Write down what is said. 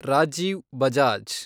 Rajiv Bajaj